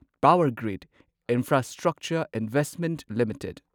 power grid infrastructure investment limited trust